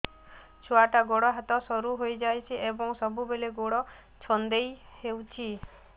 ଛୁଆଟାର ଗୋଡ଼ ହାତ ସରୁ ହୋଇଯାଇଛି ଏବଂ ସବୁବେଳେ ଗୋଡ଼ ଛଂଦେଇ ହେଉଛି